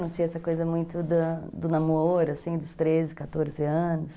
Não tinha essa coisa muito da do namoro, assim, dos treze, quatorze anos.